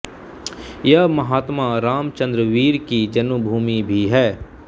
यह महात्मा रामचन्द्र वीर की जन्मभूमि भी है